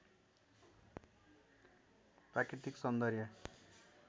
प्राकृतिक सौन्दर्य